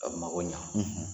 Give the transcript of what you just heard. A mago ɲɛ